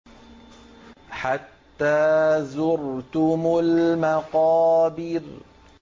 حَتَّىٰ زُرْتُمُ الْمَقَابِرَ